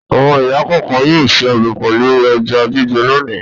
Àwọn ìyá kọ̀ọ̀kan yóò se ọbẹ̀ pẹ̀lú ẹja gbígbẹ́ lónìí.